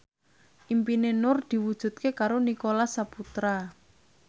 impine Nur diwujudke karo Nicholas Saputra